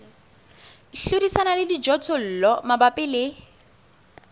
hlodisana le dijothollo mabapi le